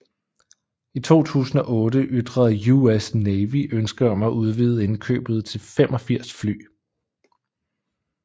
I 2008 ytrede US Navy ønske om at udvide indkøbet til 85 fly